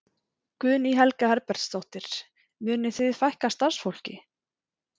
Guðný Helga Herbertsdóttir: Munið þið fækka starfsfólki?